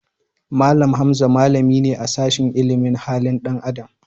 Mallam Hamza malami ne a sashin ilimin halin dan Adam.